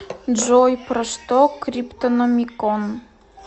джой про что криптономикон